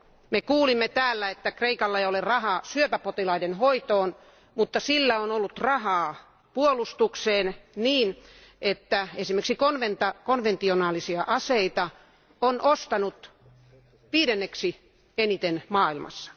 Me kuulimme täällä, että Kreikalla ei ole rahaa syöpäpotilaiden hoitoon, mutta sillä on ollut rahaa puolustukseen niin, että esimerkiksi konventionaalisia aseita se on ostanut viidenneksi eniten maailmassa.